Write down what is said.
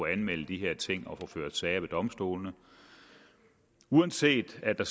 anmelde de her ting og at få ført sager ved domstolene uanset at